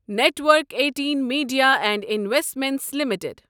network Eighteen Media and Investments limited